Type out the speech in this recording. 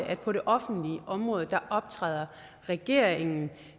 at på det offentlige område optræder regeringen